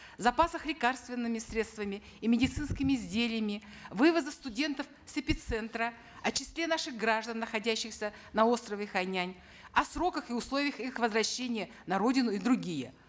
запасах лекарственными средствами и медицинскими изделиями вывоза студентов с эпицентра о числе наших граждан находящихся на острове хайнань о сроках и условиях их возвращения на родину и другие